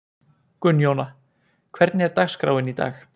Gunnjóna, hvernig er dagskráin í dag?